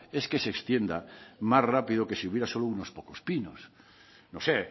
es que se extienda más rápido que si hubiera solo unos pocos pinos no sé